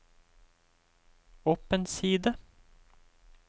opp en side